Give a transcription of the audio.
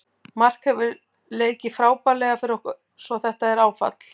Mark hefur leikið frábærlega fyrir okkur svo þetta er áfall.